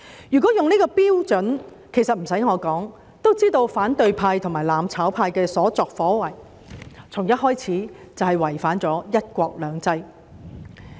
如果以這標準，其實無須我多說，也知道反對派和"攬炒"派的所作所為，從一開始便違反了"一國兩制"。